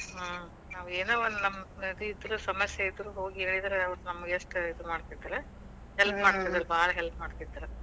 ಹ್ಮ್. ನಾವೇನೋ ಒಂದ್ ನಮಗ್ ಇದು ಇದ್ರು ಸಮಸ್ಯೆ ಇದ್ರು ಹೋಗಿ ಹೇಳಿದ್ರ ಅವರ ನಮ್ಗ ಎಷ್ಟ ಇದಿನ್ ಮಾಡ್ತಿದ್ರ help ಮಾಡ್ತೀದ್ರ ಭಾಳ್ help . ಮಾಡ್ತೀದ್ರ ಮಾಡೇವಿ ನಾವ್